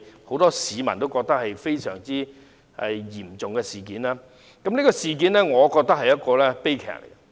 很多市民認為，"七二一"事件相當嚴重，我也認為這是悲劇。